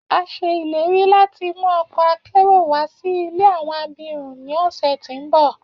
A ṣe ileri lati mu ọkọ akero wa si ile awọn abirun ni ọsẹ ti n bọ